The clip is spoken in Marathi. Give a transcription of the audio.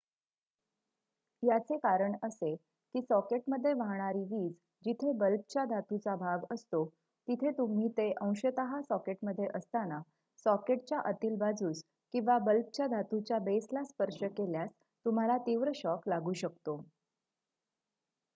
याचे कारण असे की सॉकेटमध्ये वाहणारी वीज जिथे बल्बच्या धातूचा भाग असतो तिथे तुम्ही ते अंशतः सॉकेटमध्ये असताना सॉकेटच्या आतील बाजूस किंवा बल्बच्या धातूच्या बेसला स्पर्श केल्यास तुम्हाला तीव्र शॉक लागू शकतो